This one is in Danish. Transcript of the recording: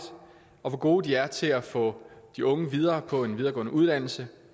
og hvor gode de er til at få de unge videre på en videregående uddannelse